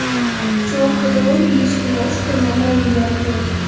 в твоем каталоге есть киношка жанра видеообзор